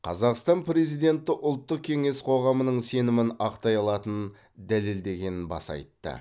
қазақстан президенті ұлттық кеңес қоғамының сенімін ақтай алатынын дәлелдегенін баса айтты